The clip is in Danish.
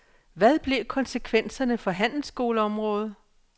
Hvad blev konsekvenserne for handelsskoleområdet?